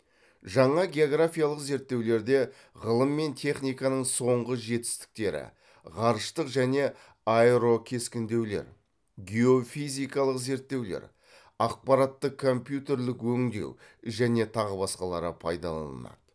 жаңа географиялық зерттеулерде ғылым мен техниканың соңғы жетістіктері ғарыштық және аэро кескіндеулер геофизикалық зерттеулер ақпаратты компьютерлік өңдеу және тағы басқалары пайдаланылады